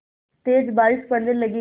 तेज़ बारिश पड़ने लगी